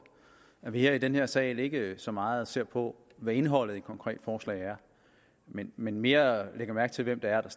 at vi her i den her sal ikke så meget ser på hvad indholdet i et konkret forslag er men men mere lægger mærke til hvem det er der